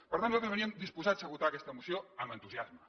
per tant nosaltres veníem disposats a votar aquesta moció amb entusiasme